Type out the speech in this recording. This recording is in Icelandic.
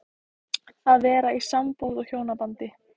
Að vera í sambúð og hjónabandi